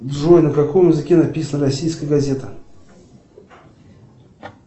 джой на каком языке написана российская газета